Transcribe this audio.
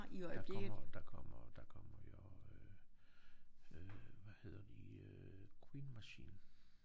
Der kommer der kommer der kommer jo øh hvad hedder de Queen Machine